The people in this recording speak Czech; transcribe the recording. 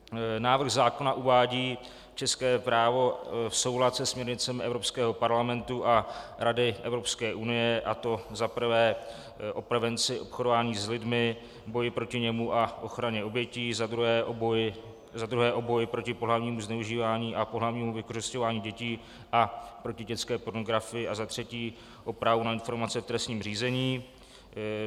Návrh zákona uvádí české právo v soulad se směrnicemi Evropského parlamentu a Rady Evropské unie, a to za prvé o prevenci obchodování s lidmi, boji proti němu a ochraně obětí, za druhé o boji proti pohlavnímu zneužívání a pohlavnímu vykořisťování dětí a proti dětské pornografii a za třetí o právu na informace v trestním řízení.